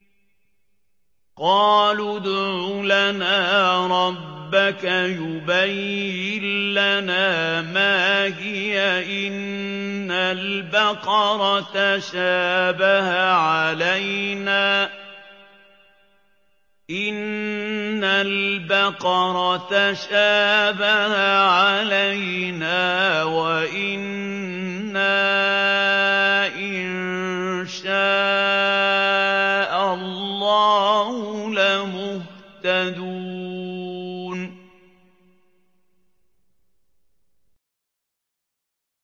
قَالُوا ادْعُ لَنَا رَبَّكَ يُبَيِّن لَّنَا مَا هِيَ إِنَّ الْبَقَرَ تَشَابَهَ عَلَيْنَا وَإِنَّا إِن شَاءَ اللَّهُ لَمُهْتَدُونَ